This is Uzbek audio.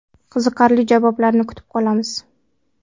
Qiziqarli javoblarni kutib qolamiz.